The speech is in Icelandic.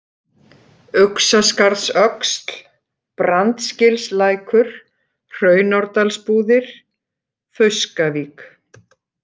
Uxaskarðsöxl, Brandsgilslækur, Hraunárdalsbúðir, Fauskavík